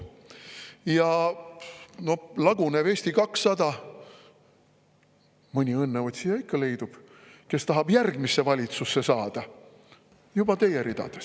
Ja lagunevas Eesti 200-s ikka leidub mõni õnneotsija, kes tahab järgmisse valitsusse saada juba teie ridades.